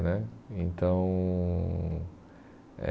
né então eh